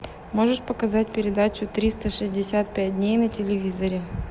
можешь показать передачу триста шестьдесят пять дней на телевизоре